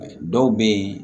Dɔw bɛ yen